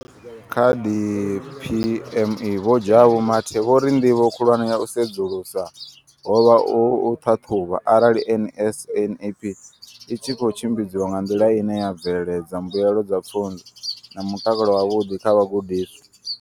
Kha DPME, vho Jabu Mathe, vho ri ndivho khulwane ya u sedzulusa ho vha u ṱhaṱhuvha arali NSNP i tshi khou tshimbidzwa nga nḓila ine ya bveledza mbuelo dza pfunzo na mutakalo wavhuḓi kha vhagudiswa.